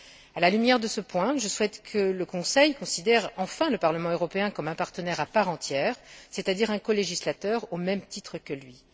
À la lumière de ce point, je souhaite que le Conseil considère enfin le Parlement européen comme un partenaire à part entière, c'est à dire un colégislateur, au même titre que lui.